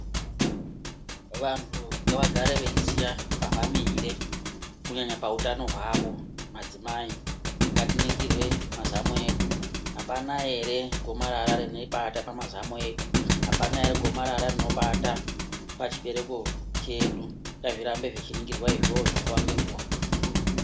Vantu ngavagare veiziya pavamire kunyanya pahutano hwavo. Madzimai ngatiningirwe mazamu edu hapana ere gomarara rimobata pamazamu edu, hapana ere gomarara rinobata pachibereko chedu. Ngazvitambe zvichiningirwa izvozvo nguva ngenguva.